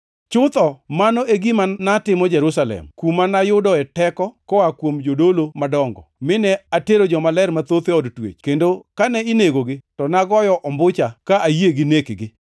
Chutho, mano e gima natimo Jerusalem, kuma nayudoe teko koa kuom jodolo madongo, mine atero jomaler mathoth e od twech; kendo kane inegogi, to nagoyo ombucha, ka ayie gi nekgi.